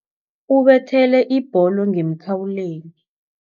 Ubethele ibholo ngemkhawulweni.